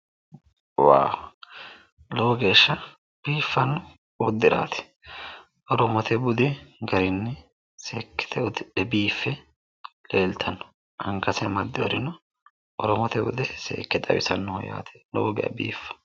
woha lowe geeshsha biiffanno uddiraati oromote budi garinni seekkite uddidhe biiffe leeltanno angase amaddinorino oromote bude seekke xawisannoho yaate lowo geeshsha baxisa